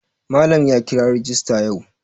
Malam ya kira rajista yau.